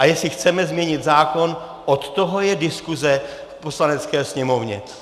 A jestli chceme změnit zákon, od toho je diskuze v Poslanecké sněmovně.